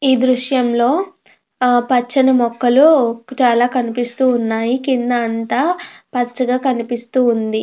ఈ దృశ్యం లో పచ్చని మొక్కలు చాలా కనిపిస్తున్నాయి కింద అంత పచ్చగా కనిపిస్తూ ఉంది.